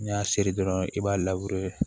N'i y'a seri dɔrɔn i b'a